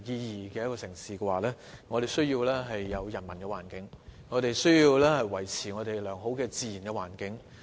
要做到這一點，便必需要人文環境及保持良好的自然環境。